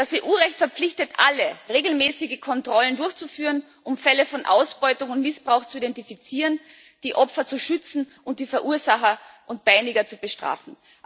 Das EU Recht verpflichtet alle, regelmäßige Kontrollen durchzuführen, um Fälle von Ausbeutung und Missbrauch zu identifizieren, die Opfer zu schützen und die Verursacher und Peiniger zu bestrafen.